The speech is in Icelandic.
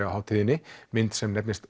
á hátíðinni myndina